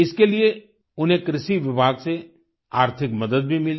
इसके लिए उन्हें कृषि विभाग से आर्थिक मदद भी मिली